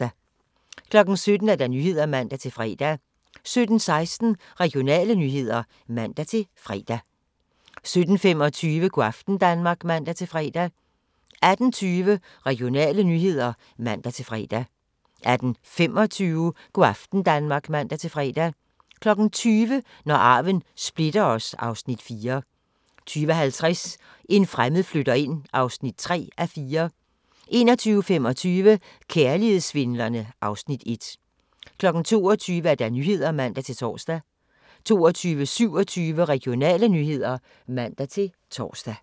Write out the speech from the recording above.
17:00: Nyhederne (man-fre) 17:16: Regionale nyheder (man-fre) 17:25: Go' aften Danmark (man-fre) 18:20: Regionale nyheder (man-fre) 18:25: Go' aften Danmark (man-fre) 20:00: Når arven splitter os (Afs. 4) 20:50: En fremmed flytter ind (3:4) 21:25: Kærlighedssvindlerne (Afs. 1) 22:00: Nyhederne (man-tor) 22:27: Regionale nyheder (man-tor)